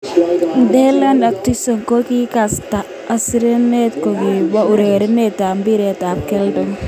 Dalian Atkinson: Kikistakan askarindet kingkobar urerenindet ab mbiret ab keldo.